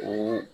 O